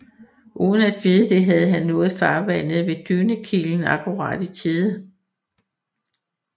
Uden at vide det havde han nået farvandet ved Dynekilen akkurat i tide